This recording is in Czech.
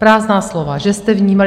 Prázdná slova, že jste vnímal.